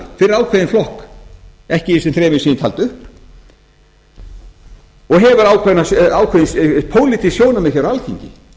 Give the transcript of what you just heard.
fyrir ákveðinn flokk ekki í þessum þremur sem ég taldi upp og hefur ákveðin pólitísk sjónarmið hér á alþingi